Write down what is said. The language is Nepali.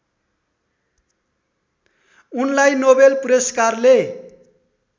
उनलाई नोबेल पुरस्कारले